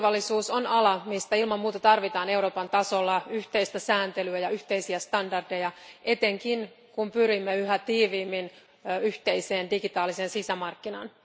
Kyberturvallisuus on ala, mistä ilman muuta tarvitaan Euroopan tasolla yhteistä sääntelyä ja yhteisiä standardeja etenkin, kun pyrimme yhä tiiviimmin yhteiseen digitaaliseen sisämarkkinaan.